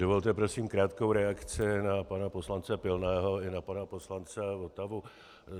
Dovolte prosím krátkou reakci na pana poslance Pilného i na pana poslance Votavu.